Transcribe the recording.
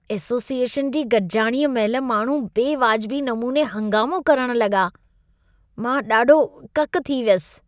Association जी गॾिजाणीअ महिल माण्हू बेवाजिबी नमूने हंगामो करण लॻा, मां ॾाढो ककि थी थियसि।